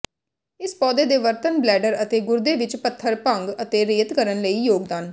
ਇਸ ਪੌਦੇ ਦੇ ਵਰਤਣ ਬਲੈਡਰ ਅਤੇ ਗੁਰਦੇ ਵਿੱਚ ਪੱਥਰ ਭੰਗ ਅਤੇ ਰੇਤ ਕਰਨ ਲਈ ਯੋਗਦਾਨ